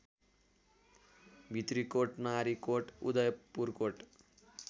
Bhitrikot Narikot Udayapurkot